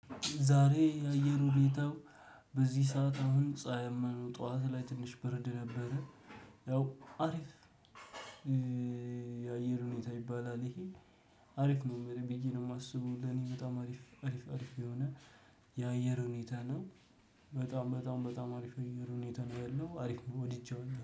ዛሬ የአየሩ ሁኒታው በዚህ ሰዓት አሁን ፀሀይማ ነው፤ ጠዋት ላይ ትንሽ ብርድ ነበረ። ያው አሪፍ የአየር ሁኔታ ይባላል ይሄ። አሪፍ ነው ብዬ ነው የማስበው ለኔ በጣም አሪፍ አሪፍ አሪፍ የሆነ የአየር ሁኔታ ነው። በጣም በጣም በጣም አሪፍ የአየር ሁኔታ ነው ያለው አሪፍ ነው ወድጃለሁ።